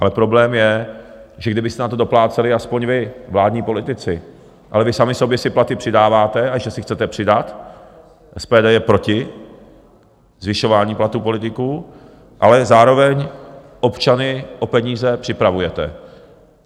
Ale problém je, že kdybyste na to dopláceli aspoň vy, vládní politici, ale vy sami sobě si platy přidáváte a ještě si chcete přidat, SPD je proti zvyšování platů politiků, ale zároveň občany o peníze připravujete.